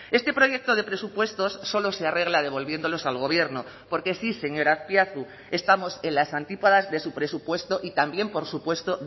este proyecto de presupuestos solo se arregla devolviéndolos al gobierno porque sí señor azpiazu estamos en las antípodas de su presupuesto y también por supuesto